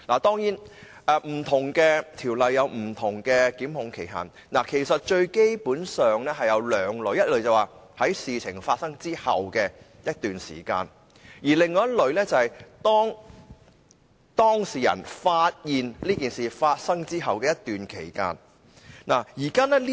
不同條例有不同檢控期限，基本上分為兩類：第一類是事件發生後的一段期間，而另一類是當事人發現事件後的一段期間。